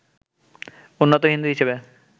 উন্নত হিন্দু হিসেবে